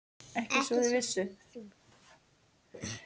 Ekki svo þeir vissu.